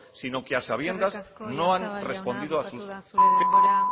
sino que a sabiendas no han respondido a sus